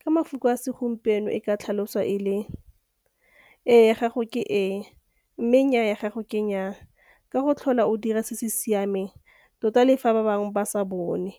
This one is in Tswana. Ka mafoko a segompieno e ka tlhaloswa e le - êê ya gago ke êê mme nnyaa ya gago ke nnyaa, ka go tlhola o dira se se siameng tota le fa ba bangwe ba sa bone,